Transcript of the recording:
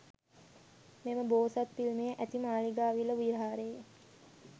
මෙම බෝසත් පිළිමය ඇති මාලිගාවිල විහාරයේ